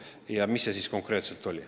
Ja nüüd te küsite, mis see siis konkreetselt oli.